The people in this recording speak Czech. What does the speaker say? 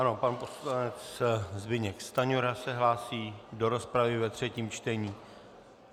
Ano, pan poslanec Zbyněk Stanjura se hlásí do rozpravy ve třetím čtení.